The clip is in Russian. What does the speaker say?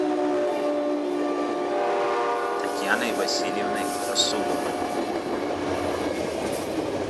татьяной васильевной расуловой